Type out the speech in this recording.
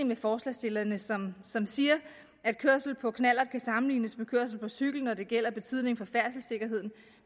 med forslagsstillerne som som siger at kørsel på knallert kan sammenlignes med kørsel på cykel når det gælder betydning for færdselssikkerheden